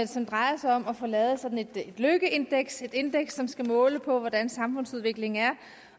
som drejer sig om at få lavet sådan et lykkeindeks et indeks som skal måle på hvordan samfundsudviklingen er